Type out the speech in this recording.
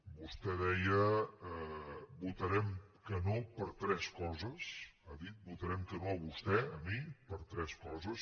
vostè deia votarem que no per tres coses ha dit votarem que no a vostè a mi per tres coses